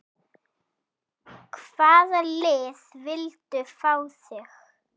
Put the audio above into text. Hvaða lið vildu fá þig?